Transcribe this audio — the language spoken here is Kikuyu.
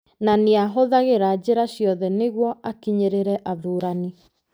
Na nĩ aahũthagĩra njĩra ciothe nĩguo akinyĩrĩrĩ athuurani.